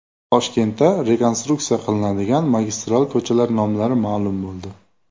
Toshkentda rekonstruksiya qilinadigan magistral ko‘chalar nomlari ma’lum bo‘ldi.